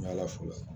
N'i ala fola